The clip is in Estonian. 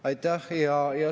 Aitäh!